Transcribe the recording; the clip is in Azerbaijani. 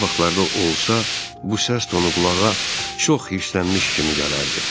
Adi vaxtlarda olsa bu səs tonu qulağa çox hirslənmiş kimi gələrdi.